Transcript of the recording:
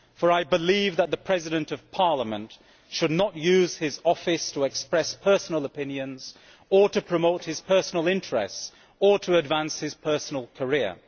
I believe that the President of Parliament should not use his office to express personal opinions or promote his personal interests or to advance his personal career.